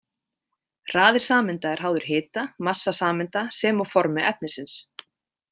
Hraði sameinda er háður hita, massa sameinda sem og formi efnisins.